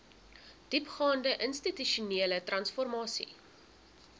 diepgaande institusionele transformasie